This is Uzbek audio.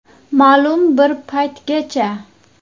Ma’lum bir paytgacha.